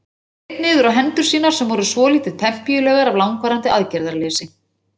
Hann leit niður á hendur sínar sem voru svolítið pempíulegar af langvarandi aðgerðarleysi.